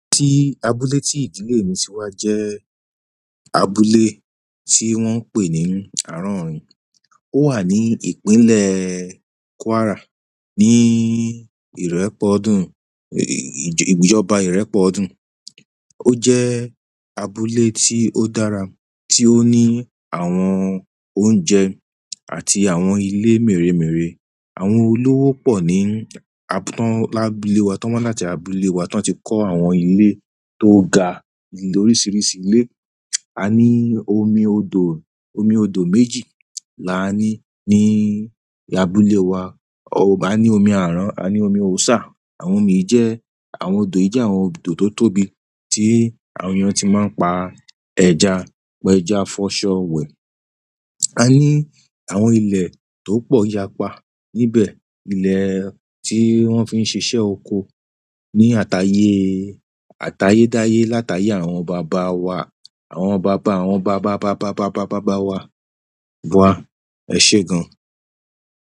Abúlé tí ìdílé mi ti wá jẹ́ abúlé tí wọ́n ń pè ní Àárọ̀ọ̀rin. Ó wà ní ìpínlẹ̀ Kwara, ní ìrẹ́pọdún, ìjọba ìrẹ́pọdún. Ó jẹ́ abúlé tí ó dára, tí ó ní àwọn oúnjẹ àti àwọn ilé mèremère. Àwọn olówó pọ̀ ní atán lábúlé wa, tań wá láti abúlé wa, tań ti kọ́ àwọn ilé tó ga ní oríṣiríṣi ilé. A ní omi odò, omi odò méjì là á ní ní abúlé wa. A ní omi àrán, a ní omi òsà. Àwọn omi jẹ́, àwọn odò jẹ́ àwọn odò tó tóbi tí àwọn èèyàn tí máa ń pa ẹja, pẹja, fọṣọ wẹ̀. A ní àwọn ilẹ̀ tó pọ̀ yapa níbẹ̀. Ilẹ̀ tí wọ́n fi ń ṣiṣẹ́ oko ní àtayé, àtayé-dáyé látayé àwọn bàbá wa, àwọn bàbá, àwọn bàbá, bàbá, bàbá, bàbá, bàbá wa. Bọ́ à, ẹ ṣé gan.